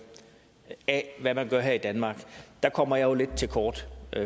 af hvad man gør her i danmark kommer jeg jo lidt til kort